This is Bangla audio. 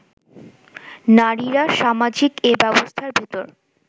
নারীরা সামাজিক এ ব্যবস্থার ভেতর